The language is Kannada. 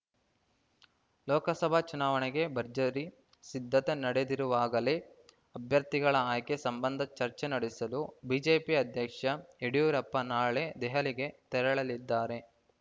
ಲೋಕಸಭಾ ಚುನಾವಣೆಗೆ ಭರ್ಜರಿ ಸಿದ್ಧತೆ ನಡೆದಿರುವಾಗಲೇ ಅಭ್ಯರ್ಥಿಗಳ ಆಯ್ಕೆ ಸಂಬಂಧ ಚರ್ಚೆ ನಡೆಸಲು ಬಿಜೆಪಿ ಅಧ್ಯಕ್ಷ ಯಡಿಯೂರಪ್ಪ ನಾಳೆ ದೆಹಲಿಗೆ ತೆರಳಲಿದ್ದಾರೆ